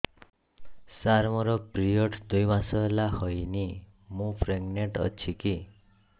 ସାର ମୋର ପିରୀଅଡ଼ସ ଦୁଇ ମାସ ହେଲା ହେଇନି ମୁ ପ୍ରେଗନାଂଟ ଅଛି କି